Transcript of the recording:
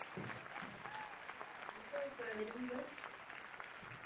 ആട പോയിക്കണോ ഇതിനു മുമ്പ്